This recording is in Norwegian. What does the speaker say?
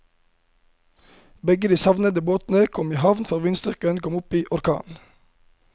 Begge de savnede båtene kom i havn før vindstyrken kom opp i orkan.